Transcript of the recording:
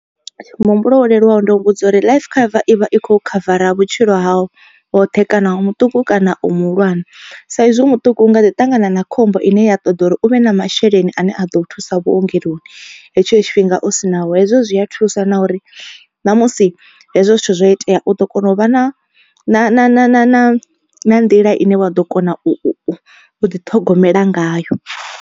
Muhumbulo wo leluwaho ndo mu vhudza uri life cover ivha i kho khavara vhutshilo hau hoṱhe kana u mutuku kana u muhulwane. Sa izwi muṱuku u nga ḓi ṱangana na khombo ine ya ṱoḓa uri u vhe na masheleni ane a ḓo thusa vhuongeloni hetsho tshifhinga u sinao hezwo zwi a thusa na uri ṋamusi hezwo zwithu zwo itea u ḓo kona u vha na na na na na na na nḓila ine wa ḓo kona u ḓi ṱhogomela ngayo.